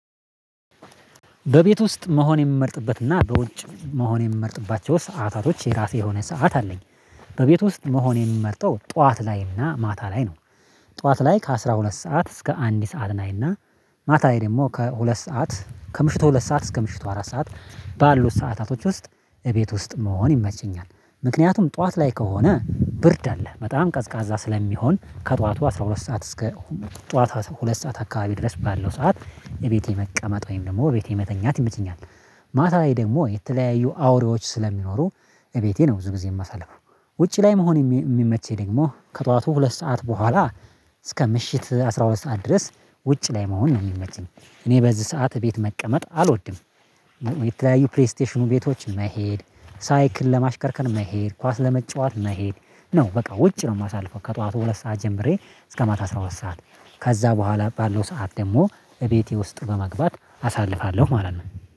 በቤት ውስጥ መሆን የምመርጥበትና በውጭ መሆን የምመርጥባቸው ሰዓታቶች የራሴ የሆነ ሰዓት አለኝ በቤቱ ውስጥ መሆን የሚመርጠው ጠዋት ላይና ማታ ላይ ነው። ጠዋት ላይ ከአስራ ሁለት ሰዓት እስከ አንድ ሰዓት ናይና ማታ ላይ ደግሞ ከሁለት ሰዓት ከምሽቱ ሁለት ሰዓት እስከ ምሽቱ አራት ሰዓት ባሉት ሰዓታቶች ውስጥ እቤት ውስጥ መሆን ይመቸኛል። ምክንያቱም ጠዋት ላይ ከሆነ ብርድ አለ በጣም ቀዝቃዛ ስለሚሆን ከጧቱ አስራ ሁለት ሰዓት እስከ ጧቷ ሁለት ሰዓት አካባቢ ድረስ ባለው ሰዓት እቤቴ መቀመጥ ወይም ደግሞ ቤቴ መተኛት ይመቸኛል። ማታ ላይ ደግሞ የተለያዩ አውሬዎች ስለሚኖሩ እቤቴን ብዙ ጊዜ የማሳልፉ። ውጪ ላይ መሆን የሚመቸኝ ደግሞ ከጧቱ ሁለት ሰዓት በኋላ እስከ ምሽት አስራ ሁለት ሰዓት ድረስ ውጭ ላይ መሆን ነው የሚመችኝ። እኔ በዚህ ሰዓት ቤት መቀመጥ አልወድም። የተለያዩ ፕሪስቴሽኑ ቤቶችን መሄድ ሳይክል ለማሽከርከር መሄድ ኳስ ለመጫወት መሄድ ነው በቃ ውጭ ነው የማሳልፈው ከጧቱ ሁለት ሰዓት ጀምሬ እስከ ማታ አስራ ሁለት ሰዓት። ከዛ በኋላ ባለው ሰዓት ደግሞ እቤቴ ውስጥ በመግባት አሳልፋለሁ ማለት ነው